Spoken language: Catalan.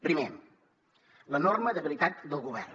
primer l’enorme debilitat del govern